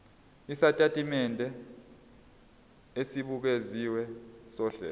isitatimende esibukeziwe sohlelo